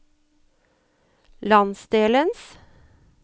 landsdelens